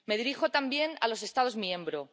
Me dirijo también a los Estados miembros.